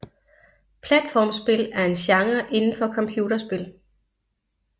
Platformspil er en genre inden for computerspil